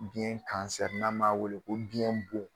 Biyɛn kansɛri n'an b'a wele ko biyɛn bon